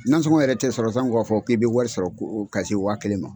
Nansɔngɔ yɛrɛ tɛ sɔrɔ sanko ka fɔ k'i bɛ wari sɔrɔ ko ka se wa kelen ma.